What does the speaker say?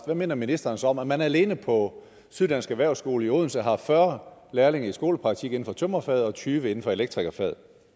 hvad mener ministeren så om at man alene på syddansk erhvervsskole i odense har haft fyrre lærlinge i skolepraktik inden for tømrerfaget og tyve inden for elektrikerfaget